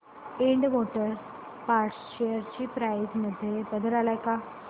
Ind motor parts share price मध्ये बदल आलाय का